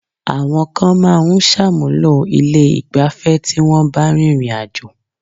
Àwọn kan máa ń ṣàmúlò ilé ìgbafẹ́ tí wọ́n bá rìnrìn àjò.